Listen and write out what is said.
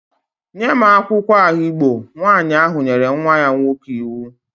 Nye m akwụkwọ ahigbo! Nwaanyị ahụ nyere nwa nwoke ahụ iwu